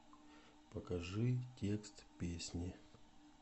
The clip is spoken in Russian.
покажи текст песни